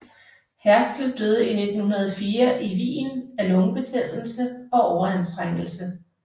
Herzl døde i 1904 i Wien af lungebetændelse og overanstrengelse